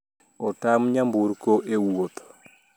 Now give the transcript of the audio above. Otam nyamburko e wuoth